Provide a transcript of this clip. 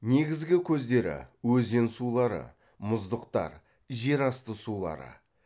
негізгі көздері өзен сулары мұздықтар жер асты сулары